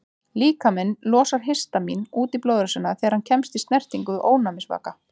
Líkaminn losar histamín út í blóðrásina þegar hann kemst í snertingu við ofnæmisvaka.